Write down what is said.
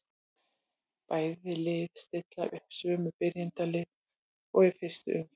Bæði lið stilla upp sömu byrjunarliðum og í fyrstu umferð.